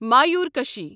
مایورکشی